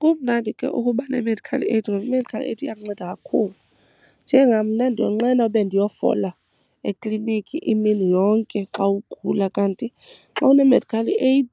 Kumnandi ke ukuba ne-medical aid ngoba i-medical aid iyakunceda kakhulu. Njengam mna ndiyonqena ube ndiyofola eklinikhi imini yonke xa ugula, kanti xa une-medical aid